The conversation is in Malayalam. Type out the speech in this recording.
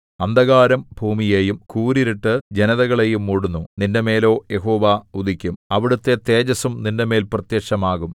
അന്ധകാരം ഭൂമിയെയും കൂരിരുട്ട് ജനതകളെയും മൂടുന്നു നിന്റെമേലോ യഹോവ ഉദിക്കും അവിടുത്തെ തേജസ്സും നിന്റെമേൽ പ്രത്യക്ഷമാകും